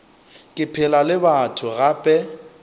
ke phela le batho gape